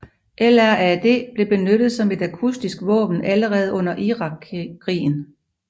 LRAD blev benyttet som et akustisk våben allerede under Irakkrigen